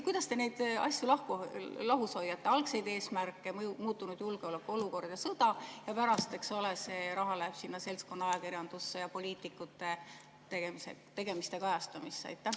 Kuidas te neid asju ikkagi lahus hoiate, neid algseid eesmärke – muutunud julgeolekuolukord ja sõda –, et see raha läheks seltskonnaajakirjandusse ja poliitikute tegemiste kajastamisse?